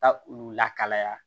Taa olu la kalaya